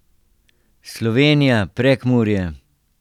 Slovenija, Prekmurje.